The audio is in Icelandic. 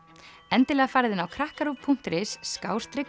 endilega farið inn á krakkaruv punktur is